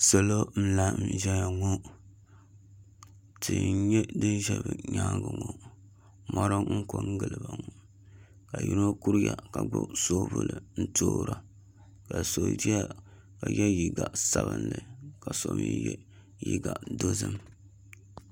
Salo n laɣam ʒɛya ŋo tia n nyɛ din ʒɛ bi nyaangi ŋo mori n ko n giliba ŋo ka yino kuriya ka gbubi soobuli n toora ka so ʒɛya ka yɛ liiga sabinli ka so mii yɛ liiga dozim